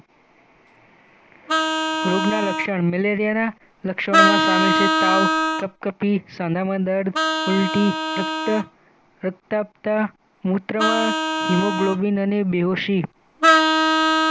રોગના લક્ષણ મેલેરિયાના લક્ષણોમાં સામેલ છે તાવ કપકપી સાંધામાં દર્દ ઉલ્ટી રક્ત પ્રતાપતા મૂત્રમાં હિમોગ્લોબીન અને બેહોશી